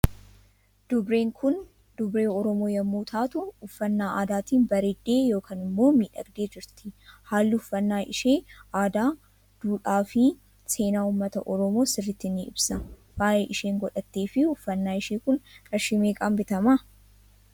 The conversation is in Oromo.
Dubreen Kun dubree oromoo yommuu taatu uffannaa aadaatiin bareedde yookaan immoo miidhagdee jirti haallii uffanna ishee aadaa duudhaa fii seenaa uummata oromoo sirritti ni ibsa. faayaa isheen godhatteefii uffannaa ishee Kun qarshii meeqaan bitama?